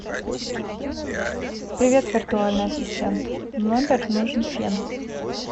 привет виртуальный ассистент в номер нужен фен